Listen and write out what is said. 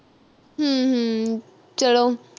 ਹਮ ਹਮ ਚੱਲੋ